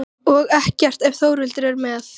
Bætti síðan við og var eins og upphafin í rómnum: